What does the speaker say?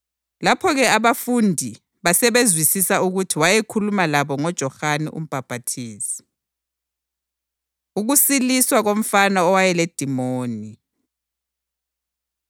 Lapho-ke abafundi basebezwisisa ukuthi wayekhuluma labo ngoJohane uMbhaphathizi. Ukusiliswa Komfana Owayeledimoni